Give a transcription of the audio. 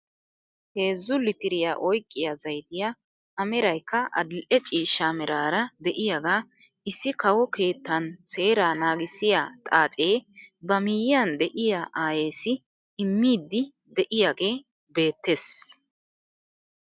Heezzu litiriyaa oyqqiyaa zayttiyaa a meraykka adil'e ciishsha meraara de'iyaaga issi kawo keettan seeraa nagiissiyaa xaacee ba miyiyaan de'iyaa ayessi immiidi de'iyaagee beettees.